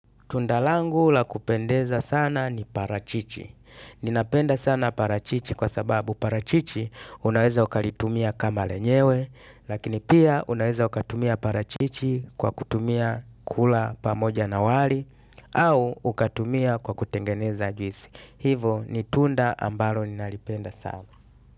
Tunda langu la kupendeza sana ni parachichi ninapenda sana parachichi kwa sababu parachichi unaweza ukalitumia kama lenyewe lakini pia unaweza ukatumia parachichi kwa kutumia kula pamoja na wali au ukatumia kwa kutengeneza juisi hivo ni tunda ambalo ninalipenda sana.